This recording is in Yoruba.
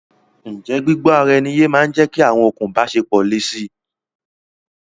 Ǹjẹ́ gbígbó ara ẹni yé máa ń jẹ́kí awọn okùn ìbáṣepọ̀ le si?